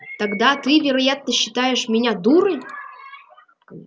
тогда ты вероятно считаешь меня дурой